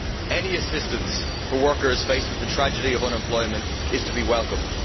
Any assistance for workers faced with the tragedy of unemployment is to be welcomed.